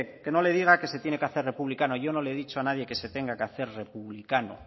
que no le diga que se tiene que hacer republicano yo no le he dicho nadie que se tenga que hacer republicano